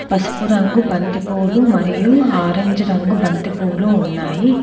పసుపు రంగు బంతి పువ్వులు మరియు ఆరంజ్ రంగు బంతి పువ్వులు ఉన్నాయి.